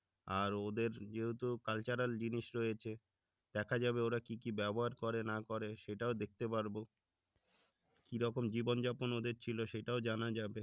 আর ওদের যেহেতু cultural জিনিস রয়েছে দেখা যাবে ওরা কি কি ব্যবহার করে না করে সেটাও দেখতে পারবো কিরকম জীবন যাপন ছিল সেটাও জানা যাবে